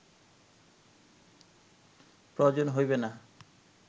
প্রয়োজন হইবে না